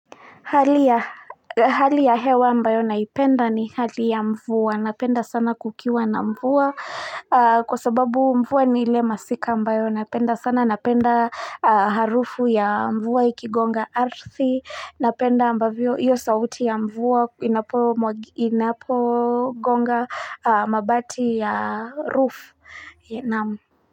Hali ya hewa ambayo naipenda ni hali ya mvua, napenda sana kukiwa na mvua kwasababu mvua ni ile masika ambayo, napenda sana napenda harufu ya mvua ikigonga ardhi, napenda ambavyo hiyo sauti ya mvuwa inapogonga mabati ya roof.